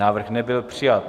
Návrh nebyl přijat.